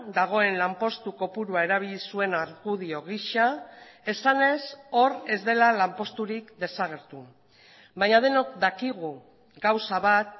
dagoen lanpostu kopurua erabili zuen argudio gisa esanez hor ez dela lanposturik desagertu baina denok dakigu gauza bat